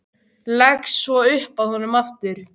Leggst svo upp að honum aftur.